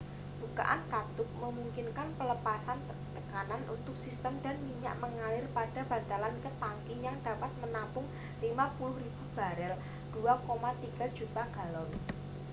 bukaan katup memungkinkan pelepasan tekanan untuk sistem dan minyak mengalir pada bantalan ke tangki yang dapat menampung 55.000 barel 2,3 juta galon